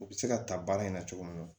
U bɛ se ka ta baara in na cogo min na